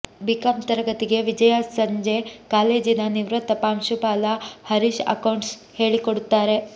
BCom ತರಗತಿಗೆ ವಿಜಯಾ ಸಂಜೆ ಕಾಲೇಜಿನ ನಿವೃತ್ತ ಪ್ರಾಂಶುಪಾಲ ಹರೀಶ್ ಅಕೌಂಟ್ಸ್ ಹೇಳಿಕೊಡುತ್ತಾರೆ